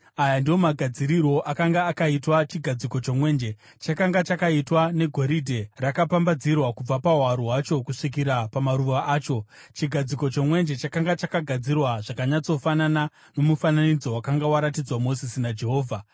Aya ndiwo magadzirirwo akanga akaitwa chigadziko chomwenje: Chakanga chakaitwa negoridhe rakapambadzirwa kubva pahwaro hwacho kusvikira pamaruva acho. Chigadziko chomwenje chakanga chakagadzirwa zvakanyatsofanana nomufananidzo wakanga waratidzwa Mozisi naJehovha.